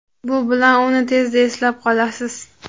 Bu bilan uni tezda eslab qolasiz.